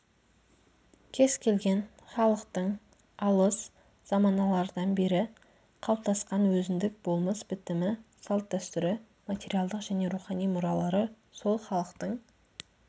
кез келген халықтың алыс заманалардан бері қалыптасқан өзіндік болмыс бітімі салт дәстүрі материалдық және рухани мұралары сол халықтың